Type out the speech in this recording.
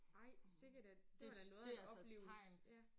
Ej sikke da det var da noget af en oplevelse ja